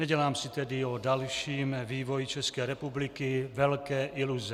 Nedělám si tedy o dalším vývoji České republiky velké iluze.